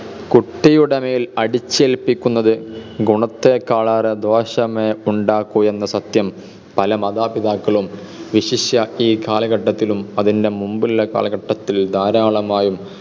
കുട്ടിയുടെമേൽ അടിച്ചേൽപ്പിക്കുന്നത് ഗുണത്തേക്കാൾ ഏറെ ദോഷമേ ഉണ്ടാക്കു എന്ന സത്യം പല മാതാപിതാക്കളും വിശിഷ്യ ഈ കാലഘട്ടത്തിലും അതിൻ്റെ മുൻപുള്ള കാലഘട്ടത്തിലും ധാരാളമായും